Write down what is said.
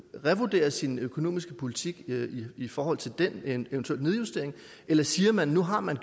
revurdere sin økonomiske politik i forhold til den eventuelle nedjustering eller siger man at nu har man